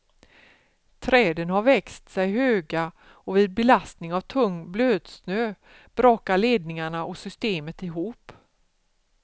Träden har växt sig höga och vid belastning av tung blötsnö brakar ledningarna och systemet ihop.